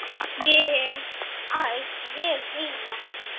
Ég hef æft vel heima.